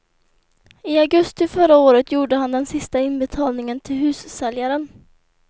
I augusti förra året gjorde han den sista inbetalningen till hussäljaren.